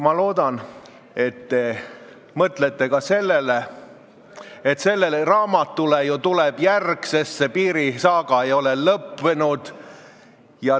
Ma loodan, et te mõtlete ka sellele, et sellele raamatule tuleb ju järg, sest piirisaaga ei ole lõppenud.